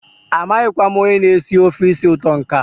amaghịkwa m onye na-esi ofe isi ụtọ nke a.